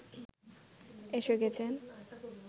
এসে গেছেন